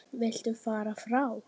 Viltu fara frá!